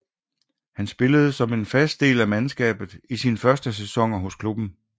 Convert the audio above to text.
Han spillede som en fast del af mandskabet i sine første sæsoner hos klubben